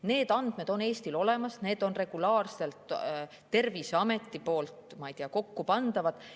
Need andmed on Eestil olemas, need on regulaarselt Terviseameti poolt, ma ei tea, kokkupandavad.